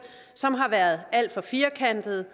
som har været alt for firkantet